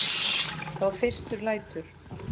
Þá fyrst lætur